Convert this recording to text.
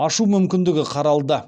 ашу мүмкіндігі қаралды